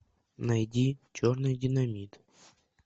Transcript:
найди черный динамит